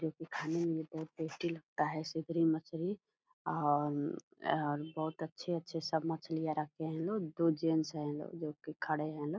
जो कि खाने में ये बहुत टेस्टी लगता है सिधरी मछली और आ बहुत अच्छे-अच्छे सब मछलियाँ रखे हैं लोग दो जेंट्स हैं लोग जो कि खड़े हैं लोग।